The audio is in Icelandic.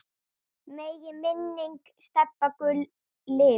Megi minning Stebba Gull lifa.